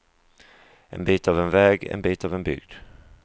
En bit av en väg, en bit av en bygd.